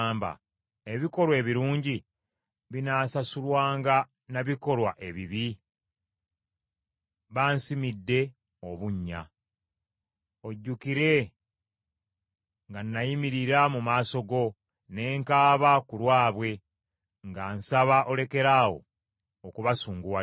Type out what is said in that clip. Ebikolwa ebirungi binaasasulwanga na bikolwa ebibi? Bansimidde obunnya. Ojjukire nga nayimirira mu maaso go ne nkaaba ku lwabwe, nga nsaba olekeraawo okubasunguwalira.